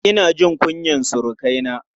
Ina jin kunyar surukaina.